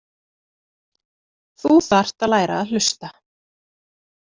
Þú þarft að læra að hlusta.